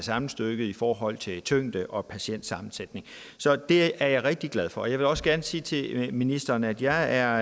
sammenstykket i forhold til tyngde og patientsammensætning så det er jeg rigtig glad for jeg vil også gerne sige til ministeren at jeg er